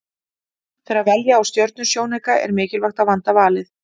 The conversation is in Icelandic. Þegar velja á stjörnusjónauka er mikilvægt að vanda valið.